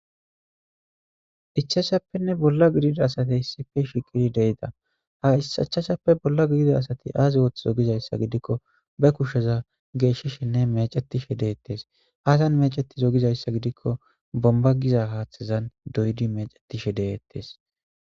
Ichachape bolla gidida asati ichachape bolla gidida asati azi othozo gidaysa gidiko bakusheza gorilishene mechetishi de'etes azi mechtizo gidaysa gidiko bonigiza hathan mechetishe de'etes